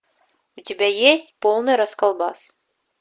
у тебя есть полный расколбас